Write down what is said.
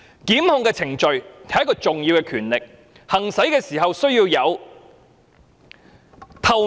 檢控決定是一種重要的權力，行使時須確保高度透明。